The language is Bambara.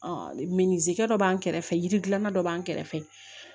minzikɛ dɔ b'an kɛrɛfɛ yiri dilanna dɔ b'an kɛrɛfɛ